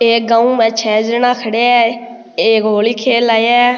एक गांव में छः जना खड़ेया है एक होली खेल आया है।